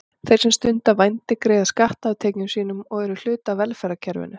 Þeir sem stunda vændi greiða skatta af tekjum sínum og eru hluti af velferðarkerfinu.